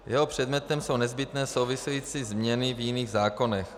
Jeho předmětem jsou nezbytné související změny v jiných zákonech.